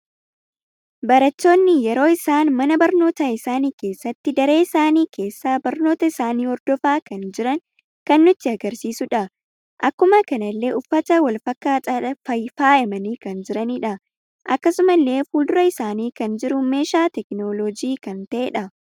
Barattoonni yeroo isaan mana barnoota isaani keessatti daree isaani keessa barnoota isaani hordofaa kan jiran kan nutti sgarsiisuudha. Akkuma kanallee uffata wal fakkatadhan faayamani kan jiranidha. Akkasumalle fuldura isaani kan jiru meeshaa teekinooloojii kan tahedha.